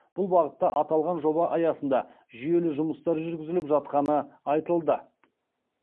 бұл бағытта аталған жоба аясында жүйелі жұмыстар жүргізіліп жатқаны айтылды